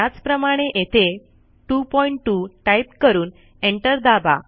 त्याचप्रमाणे येथे 22 टाईप करून एंटर दाबा